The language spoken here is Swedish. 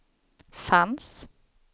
fanns